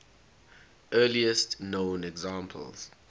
earliest known examples